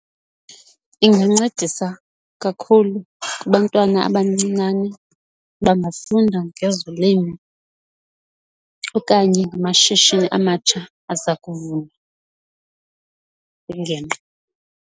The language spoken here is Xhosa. Ingancedisa kakhulu kubantwana abancinane bangafunda ngezolimo okanye amashishini amatsha aza kuvulwa .